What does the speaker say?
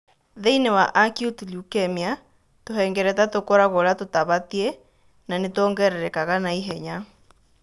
Thĩini wa acute leukemia, tũhengereta tũkoragũo ũrĩa tũtabatie na nĩ tũongererekaga na ihenya.